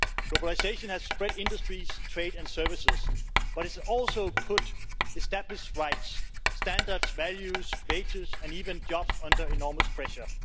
Globalisation has spread industries, trade and services but it has also put established rights, standards, values, wages and even jobs under enormous pressure.